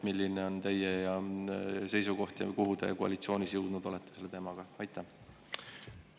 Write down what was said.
Milline on teie seisukoht ja kuhu te koalitsioonis selle teemaga jõudnud olete?